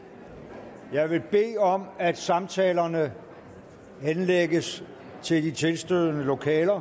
jeg vil bede om at samtalerne henlægges til de tilstødende lokaler